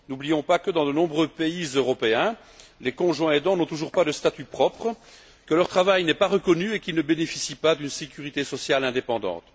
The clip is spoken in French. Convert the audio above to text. N'oublions pas que, dans de nombreux pays européens, les conjoints aidants n'ont toujours pas de statut propre, que leur travail n'est pas reconnu et qu'ils ne bénéficient pas d'une sécurité sociale indépendante.